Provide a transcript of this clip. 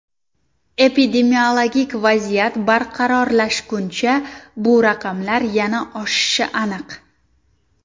Epidemiologik vaziyat barqarorlashguncha bu raqamlar yana oshishi aniq.